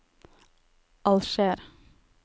Alger